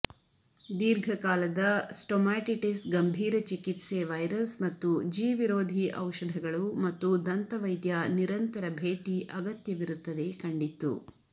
ದೀರ್ಘಕಾಲದ ಸ್ಟೊಮಾಟಿಟಿಸ್ ಗಂಭೀರ ಚಿಕಿತ್ಸೆ ವೈರಸ್ ಮತ್ತು ಜೀವಿರೋಧಿ ಔಷಧಗಳು ಮತ್ತು ದಂತವೈದ್ಯ ನಿರಂತರ ಭೇಟಿ ಅಗತ್ಯವಿರುತ್ತದೆ ಕಂಡಿತ್ತು